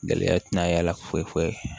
Gɛlɛya tɛna y'a la foyi foyi foyi